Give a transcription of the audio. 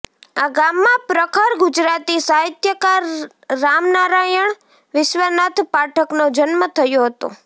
આ ગામમાં પ્રખર ગુજરાતી સાહિત્યકાર રામનારાયણ વિશ્વનાથ પાઠકનો જન્મ થયો હતો